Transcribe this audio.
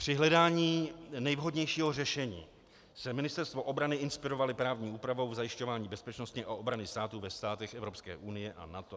Při hledání nejvhodnějšího řešení se Ministerstvo obrany inspirovalo právní úpravou v zajišťování bezpečnosti a obrany státu ve státech Evropské unie a NATO.